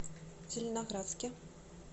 зеленоградске